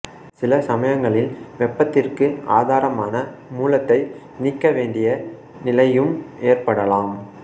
சில சமயங்களில் வெப்பத்திற்கு ஆதாரமான மூலத்தை நீக்கவேண்டிய நிலையும் ஏற்படலாம்